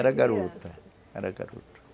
Era garoto, era garoto